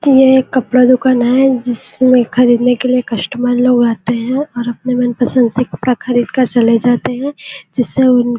यह एक कपड़ा दुकान है जिसमें खरीदने के लिया कस्टमर लोग आते है और अपने मन पसंद से कपड़ा खरीद कर चले जाते है जिससे उनको --